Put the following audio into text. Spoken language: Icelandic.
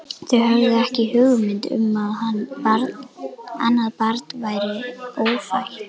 Þau höfðu ekki hugmynd um að annað barn væri ófætt.